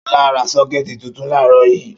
Ṣọlá ra sọ́kẹ́tì tuntun láàárọ̀ yìí.